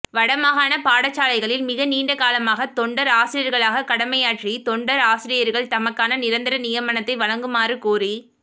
வடமாகாண பாடசாலைகளில் மிக நீண்டகாலமாக தொண்டர் ஆசிரியர்களாக கடமையாற்றிய தொண்டர் ஆசிரியர்கள் தமக்கான நிரந்தர நியமனத்தை வழங்குமாறுகோரி